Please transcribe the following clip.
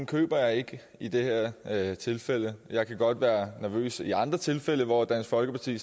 køber jeg ikke i det her tilfælde jeg kan godt være nervøs i andre tilfælde hvor dansk folkeparti